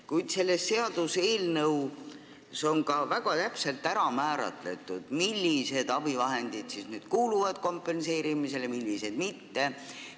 Kuid selles seaduseelnõus on ka väga täpselt ära määratud, millised abivahendid kuuluvad kompenseerimisele ja millised mitte.